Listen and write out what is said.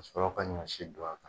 Ka sɔrɔ ka ɲɔsi don a kan.